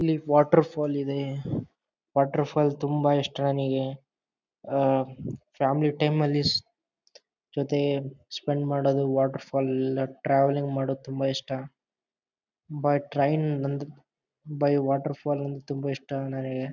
ಇಲ್ಲಿ waterfall ಇದೆ waterfall ತುಂಬ ಇಷ್ಟ ನನಿಗೆ ಆಹ್ಹ್ ಫ್ಯಾಮಿಲಿ ಟೈಮ್ ಅಲ್ಲಿ ಜೊತೆ ಸ್ಪೆಂಡ್ ಮಾಡೋದು ವಾಟರ್ ಫಾಲ್ ಲೆಲ್ಲ ಟ್ರಾವೆಲಿಂಗ್ ಮಾಡೋದು ತುಂಬಾ ಇಷ್ಟ ಬಟ್ ಟ್ರೈನ್ ಬಂದು ಬಟ್ ವಾಟರ್ ಫಾಲ್ ತುಂಬಾ ಇಷ್ಟ ನನಿಗೆ.